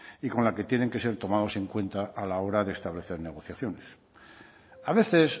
y con la que tienen que ser tomados en cuenta a la hora de establecer negociaciones a veces